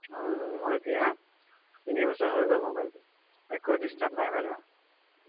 উম মোৰ এতিয়া তিনিবছৰ হৈ গল mobile টো একো disturb নাই বাৰু